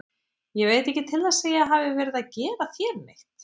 Ég veit ekki til þess að ég hafi verið að gera þér neitt.